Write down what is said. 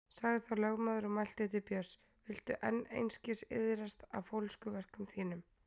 Sagði þá lögmaður og mælti til Björns: Viltu enn einskis iðrast af fólskuverkum þínum?